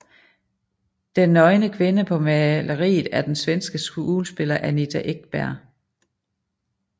Den nøgne kvinde på maleriet er den svenske skuespiller Anita Ekberg